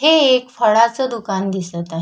हे एक फळाच दुकान दिसत आहे.